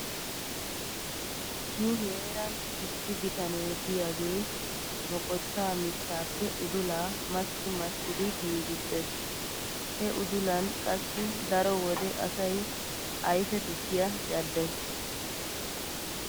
Nu heeran issi bitanee diyagee moqottaa mittaappe udulaa massi massidi giigissees. He udulan qassi daro wode asay ayfe tukkiya caddees.